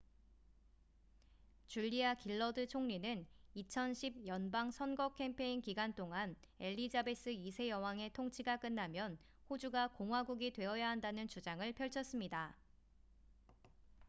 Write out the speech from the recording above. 줄리아 길러드 총리는 2010 연방 선거 캠페인 기간 동안 엘리자베스 2세 여왕의 통치가 끝나면 호주가 공화국이 되어야 한다는 주장을 펼쳤습니다